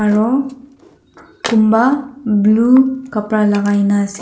Aro kunbah blue kabra lakaina ase.